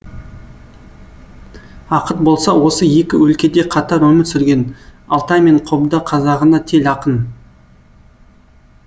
ақыт болса осы екі өлкеде қатар өмір сүрген алтай мен қобда қазағына тел ақын